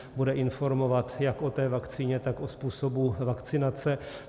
Bude informovat jak o té vakcíně, tak o způsobu vakcinace.